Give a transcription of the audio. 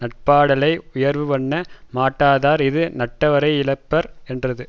நட்பாடலை உயர்வுபண்ண மாட்டாதார் இது நட்டவரை யிழப்பர் என்றது